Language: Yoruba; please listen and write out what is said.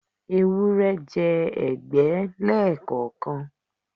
Ewúrẹ́ jẹ ẹ̀gbẹ́ lẹ́ẹ̀kọ̀kan.